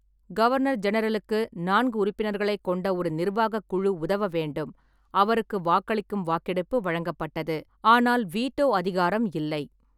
Governor ஜெனரலுக்கு நான்கு உறுப்பினர்களைக் கொண்ட ஒரு நிர்வாகக் குழு உதவ வேண்டும், அவருக்கு வாக்களிக்கும் வாக்கெடுப்பு வழங்கப்பட்டது, ஆனால் வீட்டோ அதிகாரம் இல்லை.